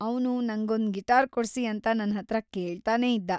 ಅವ್ನು ನಂಗೊಂದ್ ಗಿಟಾರ್‌ ಕೊಡ್ಸಿ ಅಂತ ನನ್ಹತ್ರ ಕೇಳ್ತಾನೇ ಇದ್ದ.